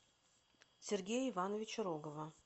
сергея ивановича рогова